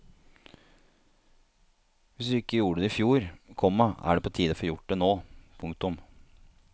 Hvis du ikke gjorde det i fjor, komma er det på tide å få det gjort nå. punktum